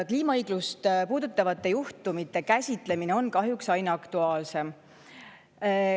Kliimaõigust puudutavate juhtumite käsitlemine on kahjuks aina aktuaalsem.